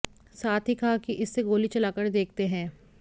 साथ ही कहा कि इससे गोली चलाकर देखते हैं